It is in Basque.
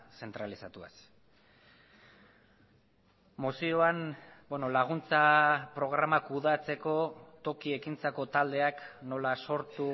zentralizatuaz mozioan laguntza programa kudeatzeko toki ekintzako taldeak nola sortu